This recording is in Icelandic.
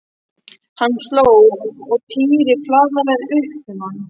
Hann hló og Týri flaðraði upp um hann.